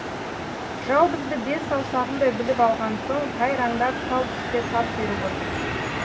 жау бізді бес саусағындай біліп алған соң тайраңдап тал түсте тап беріп отыр